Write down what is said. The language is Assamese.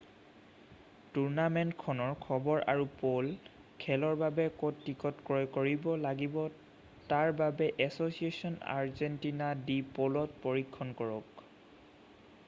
টুৰ্ণামেণ্টখনৰ খবৰ আৰু প'ল' খেলৰ বাবে ক'ত টিকট ক্ৰয় কৰিব লাগিব তাৰ বাবে এছ'ছিয়েচন আৰ্জেণ্টিনা ডি প'ল'ত পৰীক্ষণ কৰক